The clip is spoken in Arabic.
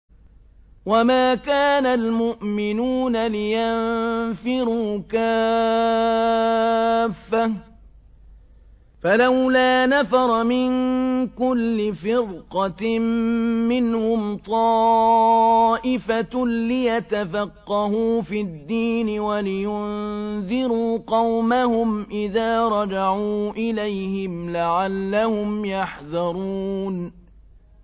۞ وَمَا كَانَ الْمُؤْمِنُونَ لِيَنفِرُوا كَافَّةً ۚ فَلَوْلَا نَفَرَ مِن كُلِّ فِرْقَةٍ مِّنْهُمْ طَائِفَةٌ لِّيَتَفَقَّهُوا فِي الدِّينِ وَلِيُنذِرُوا قَوْمَهُمْ إِذَا رَجَعُوا إِلَيْهِمْ لَعَلَّهُمْ يَحْذَرُونَ